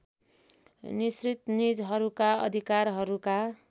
निसृत निजहरूका अधिकारहरूका